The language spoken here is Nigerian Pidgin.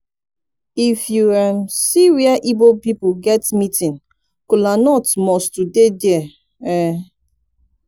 if yu see um wia igbo pipol get meeting kolanut must to dey dia um